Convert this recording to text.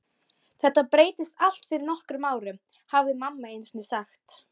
Þetta breyttist allt fyrir nokkrum árum, hafði mamma einusinni sagt.